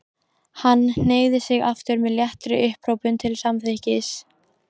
Hann hneigði sig aftur með léttri upphrópun til samþykkis.